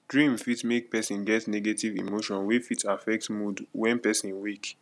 dream fit make person get negative emotion wey fit affect mood when person wake